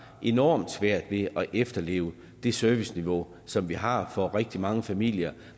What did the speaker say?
enormt svært ved at efterleve det serviceniveau som vi har for rigtig mange familier